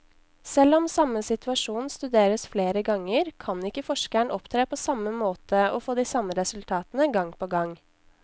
Selv om samme situasjon studeres flere ganger, kan ikke forskeren opptre på samme måte og få de samme resultatene gang på gang.